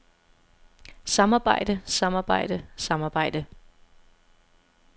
samarbejde samarbejde samarbejde